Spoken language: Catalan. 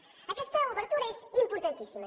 aquesta obertura és importantíssima